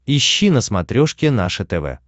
ищи на смотрешке наше тв